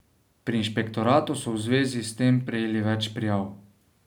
Pri inšpektoratu so v zvezi s tem prejeli več prijav.